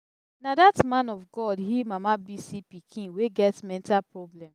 na that man of god heal mama bisi pikin wey get mental problem.